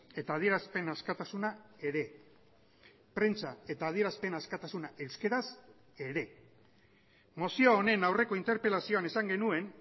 eta adierazpen askatasuna ere prentsa eta adierazpen askatasuna euskaraz ere mozio honen aurreko interpelazioan esan genuen